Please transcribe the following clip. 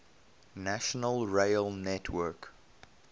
national rail network